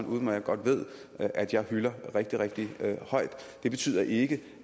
udmærket godt ved at jeg hylder rigtig rigtig meget det betyder ikke